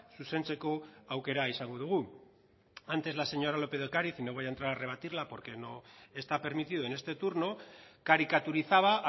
zuzentzeko aukera izango dugu antes la señora lópez de ocariz y no voy a entrar a rebatirla porque no está permitido en este turno caricaturizaba